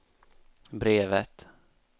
brevet